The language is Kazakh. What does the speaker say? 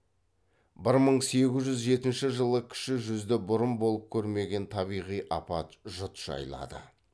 бір мың сегіз жүз жетінші жылы кіші жүзді бұрын болып көрмеген табиғи апат жұт жайлады